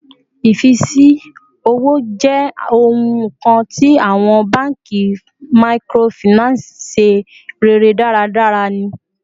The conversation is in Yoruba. Ifisi owo jẹ ohun kan ti awọn banki microfinance ṣe rere daradara ni